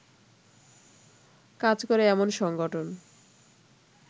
কাজ করে এমন সংগঠন